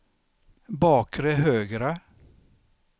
bakre högra